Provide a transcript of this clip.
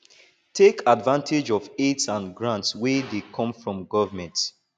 take advantage of aids and grants wey dey come from government